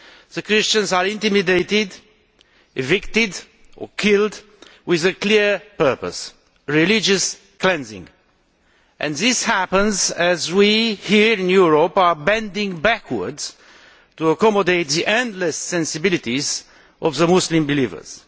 The Christians are intimidated, evicted or killed with a clear purpose religious cleansing. This is happening as we here in Europe are bending over backwards to accommodate the endless sensibilities of Muslim believers.